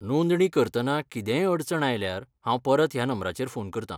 नोंदणी करतना कितेंय अडचण आयल्यार हांव परत ह्या नंबराचेर फोन करतां.